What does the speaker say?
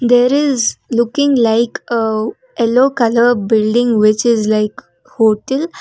there is looking like uh yellow colour building which is like hotel.